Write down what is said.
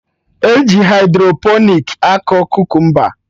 E ji hydroponiks akọ kukumba